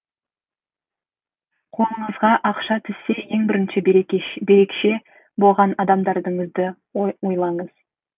қолыңызға ақша түссе ең бірінші берекше болған адамдарыңызды ойлаңыз